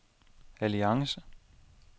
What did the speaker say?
alliance